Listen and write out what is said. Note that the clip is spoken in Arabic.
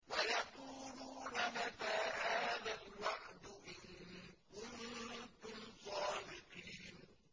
وَيَقُولُونَ مَتَىٰ هَٰذَا الْوَعْدُ إِن كُنتُمْ صَادِقِينَ